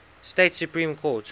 state supreme court